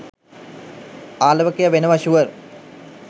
ආලවකයා වෙනවා ෂුවර්